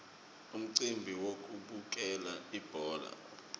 umcimbi wekubukela ibhola